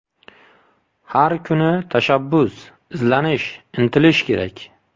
Har kuni tashabbus, izlanish, intilish kerak.